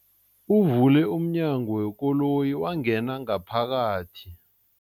Uvule umnyango wekoloyi wangena ngaphakathi.